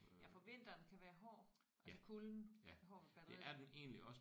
Ja for vinteren kan være hård altså kulden kan være hård ved batteriet